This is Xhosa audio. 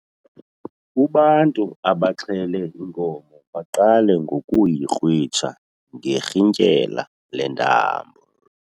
Ubantu abaxhele inkomo baqale ngokuyikrwitsha ngerhintyela lentambo.